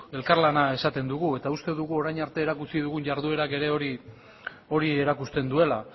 elkarlana esaten dugu eta uste dugu orain arte erakutsi dugun jarduerak ere hori erakusten duela